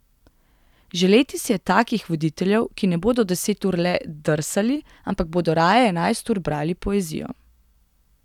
Želeti si je takih voditeljev, ki ne bodo deset ur le drsali, ampak bodo raje enajst ur brali poezijo.